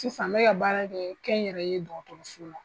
Sisan n bɛ ka baara kɛ kɛnyɛrɛ ye dɔgɔtɔrɔso la.